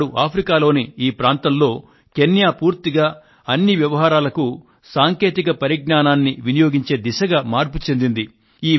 ఈనాడు ఆఫ్రికాలోని ఈ ప్రాంతంలో కెన్యా పూర్తిగా అన్ని వ్యవహారాలకు సాంకేతిక పరిజ్ఞానం వినియోగించే దిశగా మార్పు చెందింది